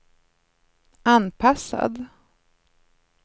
anpassad